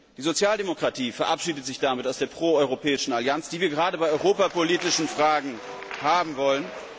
Die Sozialdemokratie verabschiedet sich damit aus der pro europäischen Allianz, die wir gerade bei europapolitischen Fragen haben wollen.